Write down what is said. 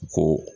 Ko